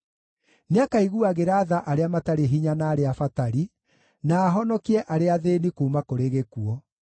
Nĩakaiguagĩra tha arĩa matarĩ hinya na arĩa abatari, na ahonokie arĩa athĩĩni kuuma kũrĩ gĩkuũ.